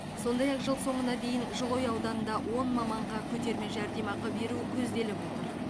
сондай ақ жыл соңына дейін жылыой ауданында он маманға көтерме жәрдемақы беру көзделіп отыр